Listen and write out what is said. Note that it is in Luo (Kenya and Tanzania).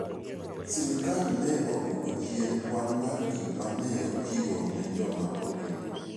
Sirkal ne odwoko chien kwan mar gik ma ne ochiwo ne joma oringo.